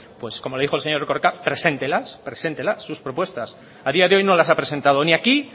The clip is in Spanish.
pues como le dijo el señor erkoreka preséntelas preséntelas sus propuestas a día de hoy no las ha presentado ni aquí